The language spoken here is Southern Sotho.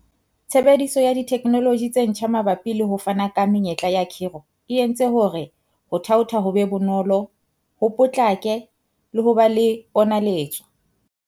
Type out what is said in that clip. Tshebediso ya dithekenoloji tse ntjha mabapi le ho fana ka menyetla ya khiro e entse hore ho thaotha ho be bonolo, ho potlake le ho ba le ponaletso.